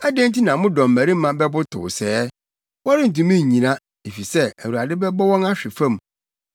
Adɛn nti na mo dɔmmarima bɛbotow sɛɛ? Wɔrentumi nnyina, efisɛ, Awurade bɛbɔ wɔn ahwe fam.